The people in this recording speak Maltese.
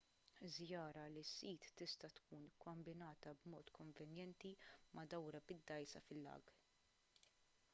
żjara lis-sit tista' tkun kkombinata b'mod konvenjenti ma' dawra bid-dgħajsa fil-lag